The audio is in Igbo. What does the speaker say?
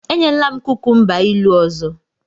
Enyela m kukumba ilu ọzọ!